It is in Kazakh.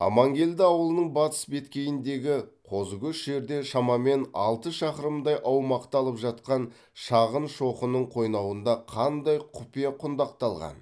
амангелді ауылының батыс беткейіндегі қозыкөш жерде шамамен алты шақырымдай аумақты алып жатқан шағын шоқының қойнауында қандай құпия құндақталған